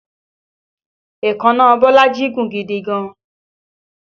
Èékánná Bolaji gùn gidi gan-an